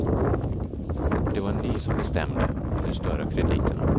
Och det var ni som bestämde om de större krediterna.